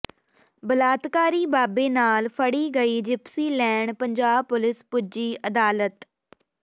ਬਲਾਤਕਾਰੀ ਬਾਬੇ ਨਾਲ ਫੜੀ ਗਈ ਜਿਪਸੀ ਲੈਣ ਪੰਜਾਬ ਪੁਲਿਸ ਪੁੱਜੀ ਅਦਾਲਤ